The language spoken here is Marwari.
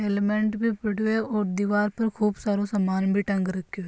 हेलमेट भी पड़ो है और दिवार पर खूब सारो सामान भी टाँग राखो है।